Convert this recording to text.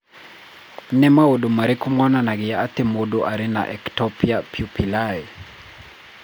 Nĩ maũndũ marĩkũ monanagia atĩ mũndũ arĩ na Ectopia pupillae?